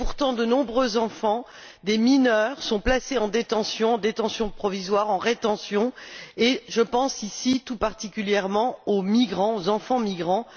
Pourtant, de nombreux enfants, des mineurs, sont placés en détention, en détention provisoire ou en rétention, et je pense tout particulièrement aux enfants migrants.